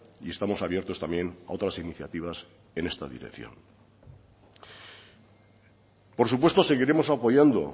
y estamos abiertos también a otras iniciativas en esta dirección por supuesto seguiremos apoyando